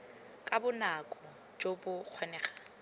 ka bonako jo bo kgonegang